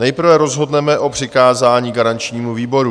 Nejprve rozhodneme o přikázání garančnímu výboru.